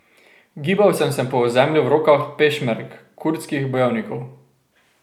Gibal sem se po ozemlju v rokah pešmerg, kurdskih bojevnikov.